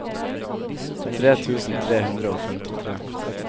tre tusen tre hundre og femtitre